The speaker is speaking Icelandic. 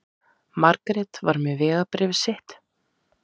Margrét var með vegabréfið sitt.